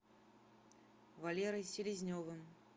валерой селезневым